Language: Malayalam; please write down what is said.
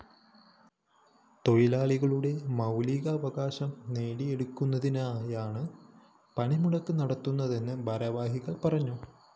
തൊഴിലാളികളുടെ മൗലീക അവകാശം നേടിയെടുക്കുന്നതിനായാണ് പണിമുടക്ക് നടത്തുന്നതെന്നും ഭാരവാഹികള്‍ പറഞ്ഞു